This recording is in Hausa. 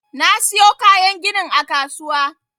Na siyo kayan ginin a kasuwa.